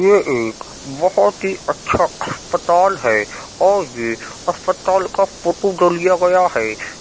ये एक बोहोत ही अच्छा अस्पताल है और ये अस्पताल का फोटो जो लिया गया है --